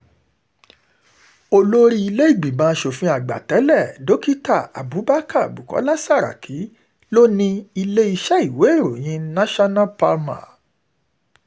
olórí ilé-ìgbìmọ̀ asòfin àgbà tẹ̀lé dókítà abubakar bukola saraki ló ní iléeṣẹ́ ìwé ìròyìn national palma